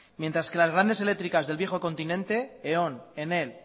mientras que las grande eléctricas del viejo continente eon enel